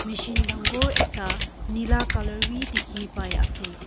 Machine dangor ekta nela colour bhi dekhe pai ase.